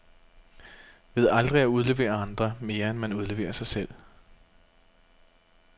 Ved aldrig at udlevere andre, mere end man udleverer sig selv.